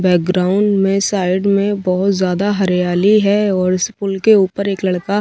background में side में बहोत ज्यादा हरियाली है और इस पुल के ऊपर एक लड़का--